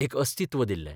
एक अस्तित्व दिल्ले.